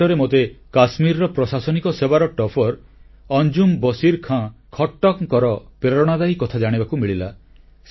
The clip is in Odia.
ନିକଟରେ ମୋତେ କାଶ୍ମୀରର ପ୍ରଶାସନିକ ସେବାର ଟପ୍ପର ଅଞ୍ଜୁମ୍ ବଶୀର ଖାଁ ଖଟ୍ଟକଙ୍କର ପ୍ରେରଣାଦାୟୀ କଥା ଜାଣିବାକୁ ମିଳିଲା